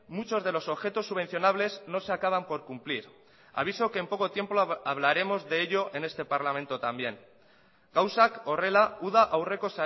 muchos de los objetos subvencionables no se acaban por cumplir aviso que en poco tiempo hablaremos de ello en este parlamento también gauzak horrela uda aurreko